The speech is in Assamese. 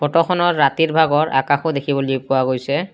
ফটোখনত ৰাতিৰ ভাগত আকাশো দেখিবলৈ পোৱা গৈছে।